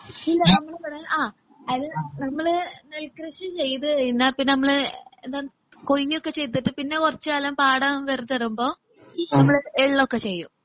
ഇല്ല നമ്മള് ആ അതായത് നമ്മള് നെൽകൃഷി ചെയ്തുകഴിഞ്ഞ് എന്നാ പിന്നെ നമ്മള് എന്താണ് കൊയ്യുവൊക്കെ ചെയ്തിട്ട് പിന്നെ കൊറച്ചു കാലം പാടം വെറുതെയിടുമ്പോ നമ്മള് എള്ളൊക്കെ ചെയ്യും.